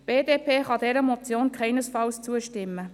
Die BDP kann dieser Motion keinesfalls zustimmen.